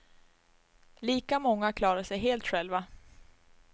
Lika många klarar sig helt själva.